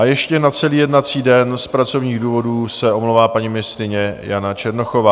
A ještě na celý jednací den z pracovních důvodů se omlouvá paní ministryně Jana Černochová.